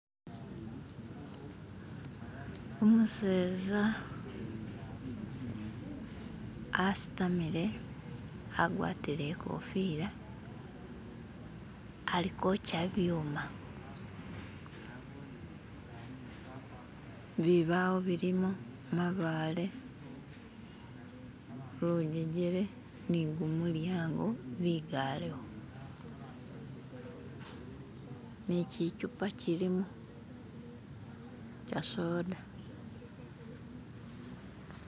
Umuseza asitamile, agwatile ikofila ali ukwocha ibyuma, bibawo bilimo, mabaale, lujejele ni gumulyango bigalewo ni kyichupa kyilimo ka soda.